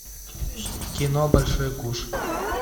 кино большой куш